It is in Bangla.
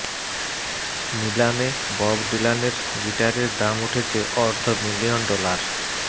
নিলামে বব ডিলানের গিটারের দাম উঠেছে অর্ধ মিলিয়ন ডলার